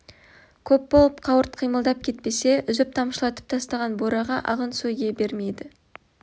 көп болып қауырт қимылдап кетпесе үзіп-тамшылатып тастаған бураға ағын су ие бермейді